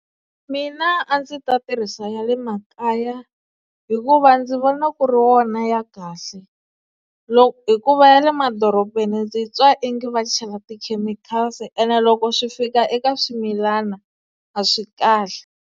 Mina a ndzi ta tirhisa ya le makaya hikuva ndzi vona ku ri wona ya kahle hikuva ya le madorobeni ndzi twa onge va chela ti-chemicals-i ene loko swi fika eka swimilana a swi kahle.